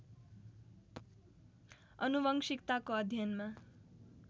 आनुवंशिकताको अध्ययनमा